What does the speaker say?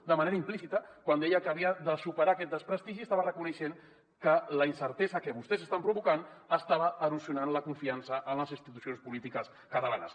de manera implícita quan deia que havia de superar aquest desprestigi estava reconeixent que la incertesa que vostès estan provocant estava erosionant la confiança en les institucions polítiques catalanes